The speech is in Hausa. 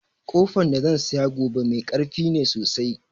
Ƙofan da zan saya gobe mai karfi ne sosai